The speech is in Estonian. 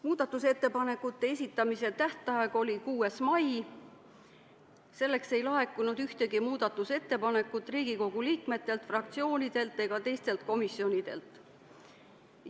Muudatusettepanekute esitamise tähtaeg oli 6. mai, selleks ajaks ei laekunud ühtegi ettepanekut Riigikogu liikmetelt, fraktsioonidelt ega teistelt komisjonidelt.